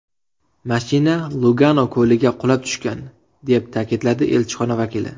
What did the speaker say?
Mashina Lugano ko‘liga qulab tushgan”, deb ta’kidladi elchixona vakili.